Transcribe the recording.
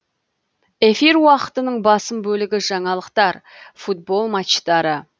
эфир уақытының басым бөлігі жаңалықтар футбол матчтары